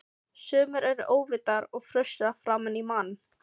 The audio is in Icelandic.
Sumir eru óvitar og frussa framan í mann!